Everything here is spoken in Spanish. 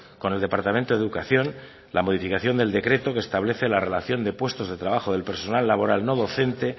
con el departamento de educación la modificación del decreto que establece la relación de puestos de trabajo del personal laboral no docente